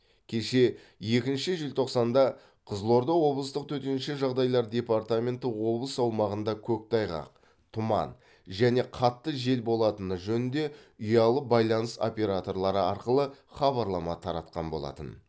кеше екінші желтоқсанда қызылорда облыстық төтенше жағдайлар департаменті облыс аумағында көктайғақ тұман және қатты жел болатыны жөнінде ұялы байланыс операторлары арқылы хабарлама таратқан болатын